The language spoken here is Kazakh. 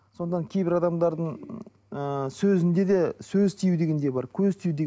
содан кейбір адамдардың ыыы сөзінде де сөз тию деген де бар көз тию